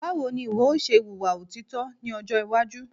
Báwo ní ìwọ yóò ṣe wùwà òtítọ́ ní ọjọ́ iwájú